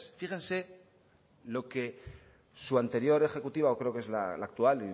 fíjense lo que su anterior ejecutiva o creo que es la actual